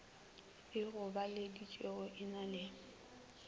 e gobaditšwego e na le